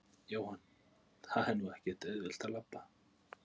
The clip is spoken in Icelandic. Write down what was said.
Jóhann: En það er nú ekkert auðvelt að labba?